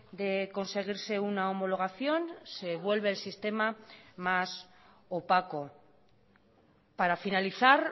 de conseguirse una homologación se vuelve el sistema más opaco para finalizar